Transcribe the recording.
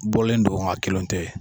Bɔlen don nga kelenw tɛ.